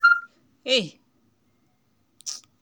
the bank application get wahala na why my payment no work